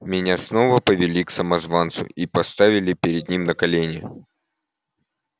меня снова повели к самозванцу и поставили перед ним на колени